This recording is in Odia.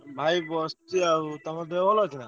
ଭାଇ ବସିଛି ଆଉ। ତମ ଦେହ ଭଲ ଅଛି ନାଁ?